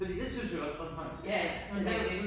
Fordi det synes jeg også bornholmsk er